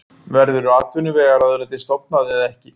Verður atvinnuvegaráðuneytið stofnað eða ekki?